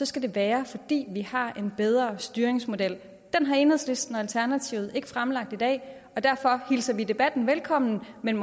skal det være fordi vi har en bedre styringsmodel den har enhedslisten og alternativet ikke fremlagt i dag og derfor hilser vi debatten velkommen men